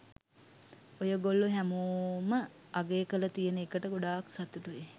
ඔයගොල්ලො හැමෝම අගය කරල තියෙන එකට ගොඩක් සතුටුයි.